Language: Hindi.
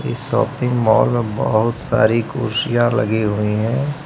शापिंग मॉल बहुत सारी कुर्सियां लगी हुई है।